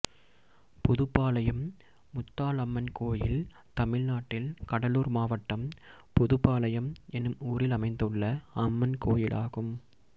புதுபாளையம் முத்தாலம்மன் கோயில் தமிழ்நாட்டில் கடலூர் மாவட்டம் புதுபாளையம் என்னும் ஊரில் அமைந்துள்ள அம்மன் கோயிலாகும்